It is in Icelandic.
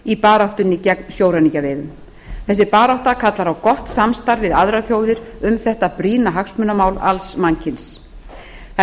í baráttunni gegn sjóræningjaveiðum þessi barátta kallar á gott samstarf við aðrar þjóðir um þetta brýna hagsmunamál alls mannkyns það er